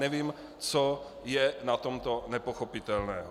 Nevím, co je na tomto nepochopitelného.